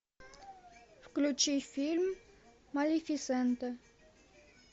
включи фильм малефисента